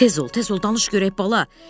Tez ol, tez ol, danış görək bala.